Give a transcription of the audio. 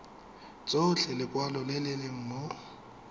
tshotse lekwalo le le mo